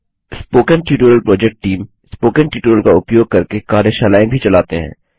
spoken tutorial project team spoken tutorial का उपयोग करके कार्यशालाएँ भी चलाते हैं